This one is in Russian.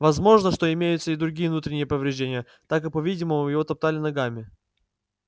возможно что имеются и другие внутренние повреждения так как по-видимому его топтали ногами